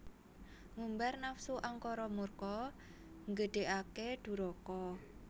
Ngumbar nafsu angkara murka nggedhekake duraka